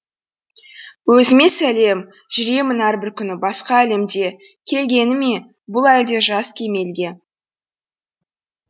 өзіме сәлем жүремін әрбір күні басқа әлемде келгені ме бұл әлде жас кемелге